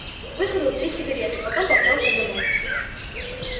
выкурил три сигареты потом поплёлся домой